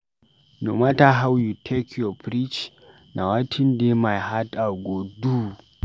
No mata how you take preach, na wetin dey my heart I go do.